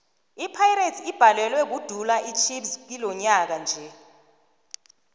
ipirates ibhalelwe kudula ichiefs kilonyaka nje